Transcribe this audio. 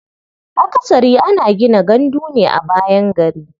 Akasari ana gina gandu ne a bayan gari.